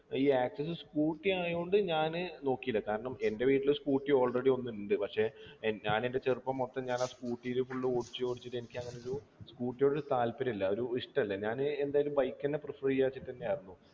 ഈ access scooter ആയോണ്ട് ഞാന് നോക്കീല കാരണം എൻ്റെ വീട്ടില് scooter already ഒന്ന്ണ്ട് പക്ഷെ ഏർ ഞാനെൻ്റെ ചെറുപ്പം മൊത്തം ഞാനാ scooter ല് full ഓടിച്ച് ഓടിച്ചിട്ട് എനിക്കങ്ങനെ ഒരു scooter യോടൊരു താല്പര്യല്ല ഒരു ഇഷ്ടല്ല ഞാന് എന്തയാലും bike എന്നെ prefer ചെയ്യാ വെച്ചിട്ടെന്നെ ആയിരുന്നു